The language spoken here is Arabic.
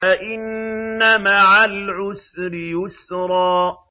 فَإِنَّ مَعَ الْعُسْرِ يُسْرًا